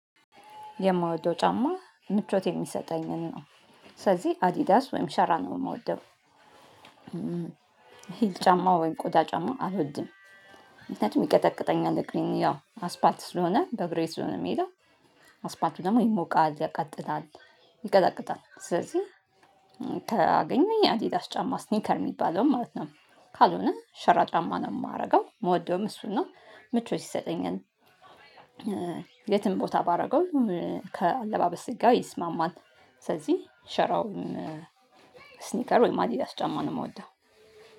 የምወደው ጫማ ምቾት የሚሰጠኝን ነው ስለዚህ አዲዳስ ወይንም ሸራን ነው ምወደው ሂል ጫማ ወይንም ቆዳ ጫማ አልወድም ምክኒያቱም ይቀጠቅጠኛል እግሬን ያው አስፓልት ስለሆነ በእግሬ ስለሆነ ምሄደው አስፓልት ደግሞ ይሞቃል ያቃጥላል። ይቀጠቅጣል ስለዚህ ካገኘው ያ አዲዳስ ጫማ ሲኒከር ሚባለውን ማለት ነው ከልነ ሸራ ጫማ ነው ማደርገው ምወደውም አሱን ነው ምቾት ይሰጠኛል የትም ቦታ ባደርገው ካለባበሴ ጋር ይስማማል። ስለዚህ ሸራውን ስኒከር ወይም አዲዳስ ጫማ ነው የምወደው